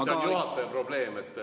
See on juhataja probleem.